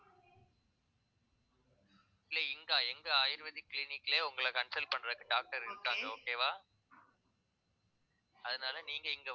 இல்லை இங்க எங்க ayurvedic clinic லயே உங்களை consult பண்றதுக்கு doctor இருக்காங்க okay வா அதனால நீங்க இங்க